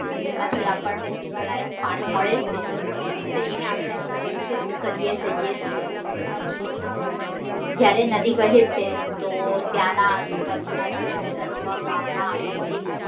જેમાંથી આપણને પીવાલાયક પાણી મળે છે. તેને આપણે પ્રદુષિત કરીએ જઈએ છે જયારે નદી વહે છે તો ત્યાંના આજુબાજુ ના શહેર અથવા ગામ માં આવેલી